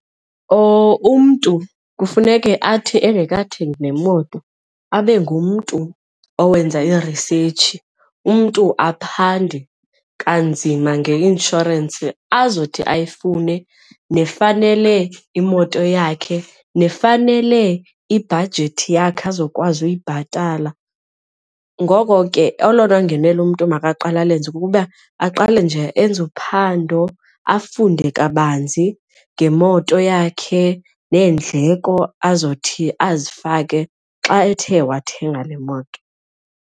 Umntu kufuneke athi engekayithengi neemoto abe ngumntu owenza i-research, umntu aphande kanzima ngeinshorensi azothi ayifune nefanele imoto yakhe nefanele ibhajethi yakhe azokwazi uyibhatala. Ngoko ke olona ngenelo umntu makaqale alenze kukuba aqale nje enze uphando afunde kabanzi ngemoto yakhe neendleko azothi azifake xa ethe wathenga le moto.